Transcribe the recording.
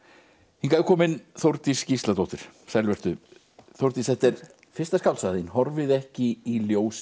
hingað er komin Þórdís Gísladóttir sæl vertu Þórdís þetta er fyrsta skáldsagan þín horfið ekki í ljósið